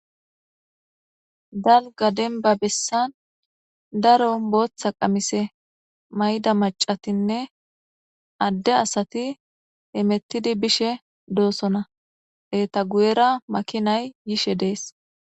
Dalga denba bessan daro booththa qamise mayda macatinne adde asati emettidi bishe doosona eta guyera makinay yishe dees.